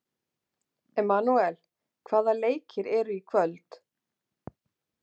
Emanúel, hvaða leikir eru í kvöld?